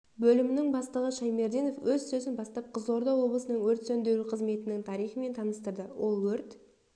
бөлімінің бастығы шаймерденов өз сөзін бастап қызылорда облысының өрт сөндіру қызметінің тарихымен таныстырды ол өрт